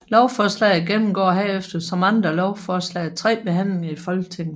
Lovforslaget gennemgår herefter som andre lovforslag tre behandlinger i Folketinget